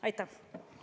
Aitäh!